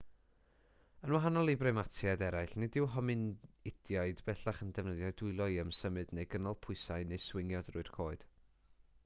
yn wahanol i brimatiaid eraill nid yw hominidiaid bellach yn defnyddio'u dwylo i ymsymud neu gynnal pwysau neu swingio trwy'r coed